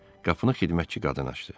Qapını xidmətçi qadın açdı.